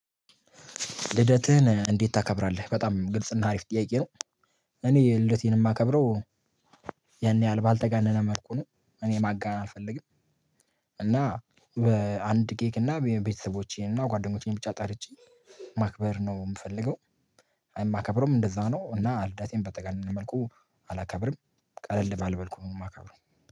ልደትህን እንዴት ታከብራለህ? በጣም ግልጽና አሪፍ ጥያቄ ነው። እኔ ልደቴን የማከብረው። ያን ያህልል ባልተጋነነ መልኩ ነው እኔ ማጋነን አልፈልግም። እና በአንድ ኬክ እና ቤተሰቦቼን እና ጓደኞቼን ብቻ ጠርቼ ማክበር ነው የምፈልገው። እማከብረውም እንደዛ ነው እና ልደቴን በተጋነነ መልኩ አላከብርም። ቀለል ባል መልኩ ነው የማከብረው።